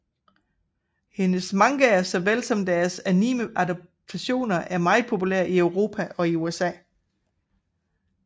Hendes mangaer såvel som deres anime adaptationer er meget populære i Europa og i USA